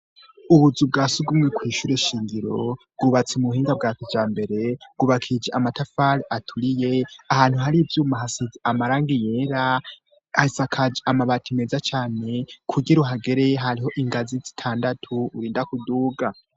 Ubuzu bwa si gumwe kw'ishure shingiro rwubatsa ubuhinga bwa kuja mbere gubakija amatafale aturiye ahantu hari ivyuma hasizi amarangi yera hasakaje amabati meza cane kugira uhageree hariho ingazi zitandatu urinda kuduga.